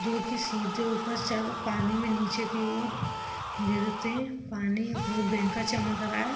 जो की सीधे ऊपर जायेगा। पानी में नीचे की और गिरते पानी में बह कर चमक रहा है।